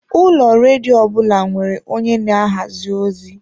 Ụlọ redio ọbụna nwere onye na-ahazi ozi.